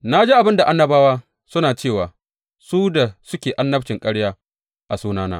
Na ji abin da annabawa suna cewa su da suke annabcin ƙarya a sunana.